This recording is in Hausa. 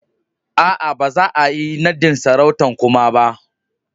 Aa, ba za'a yi nadin sarautan kuma ba.